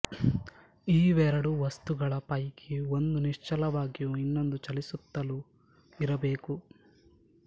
ಈ ಎರಡು ವಸ್ತುಗಳ ಪೈಕಿ ಒಂದು ನಿಶ್ಚಲವಾಗಿಯೂ ಇನ್ನೊಂದು ಚಲಿಸುತ್ತಲೂ ಇರಬೇಕು